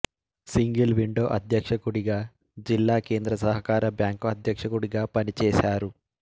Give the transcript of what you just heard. single window అధ్యక్షుడిగాజిల్లా కేంద్ర సహకార బ్యాంకు అధ్యక్షుడిగా పనిచేశారు